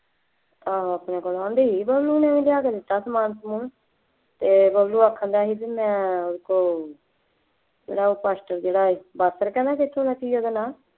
ਆਹੋ ਆਪਣੇ ਕੋਲੋਂ, ਕਹਿੰਦੀ ਸੀ ਬਬਲੂ ਨੇ ਲਿਆ ਕੇ ਦਿੱਤਾ ਸਮਾਨ ਸਮੂਨ ਅਤੇ ਬਬਲੂ ਆਖਣ ਡਿਆ ਸੀ ਬਈ ਮੈਂ ਉਹਦੇ ਕੋਲ ਜਿਹੜਾ ਉਹ ਜਿਹੜਾ ਹੈ ਪਾਤਰ ਕਹਿੰਦਾ ਕਿੱਥੋਂ ਦੱਸੀ ਹੈ ਗੱਲ ਹਾਂ